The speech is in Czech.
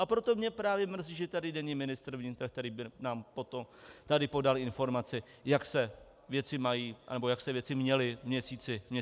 A proto mě právě mrzí, že tady není ministr vnitra, který by nám tady podal informaci, jak se věci mají anebo jak se věci měly v měsíci lednu.